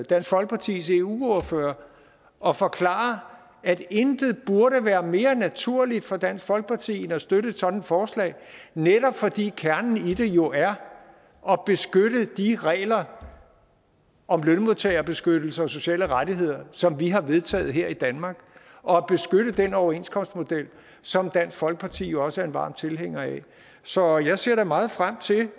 dansk folkepartis eu ordfører og forklare at intet burde være mere naturligt for dansk folkeparti end at støtte et sådant forslag netop fordi kernen i det jo er at beskytte de regler om lønmodtagerbeskyttelse og sociale rettigheder som vi har vedtaget her i danmark og at beskytte den overenskomstmodel som dansk folkeparti jo også er en varm tilhænger af så jeg ser meget frem til det